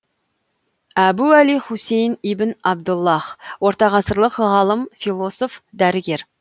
әбу әли хусейн ибн абдаллах ортағасырлық ғалым философ дәрігер